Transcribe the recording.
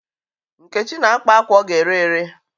Nkechi na-akpa akwa ọ ga-ere ere.